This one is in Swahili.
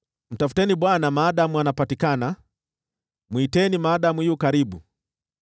Mtafuteni Bwana maadamu anapatikana; mwiteni maadamu yu karibu.